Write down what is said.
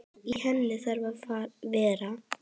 Í henni þurfa að vera